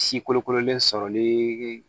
Si kolokololen sɔrɔli